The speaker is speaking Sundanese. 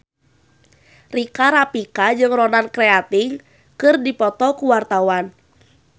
Rika Rafika jeung Ronan Keating keur dipoto ku wartawan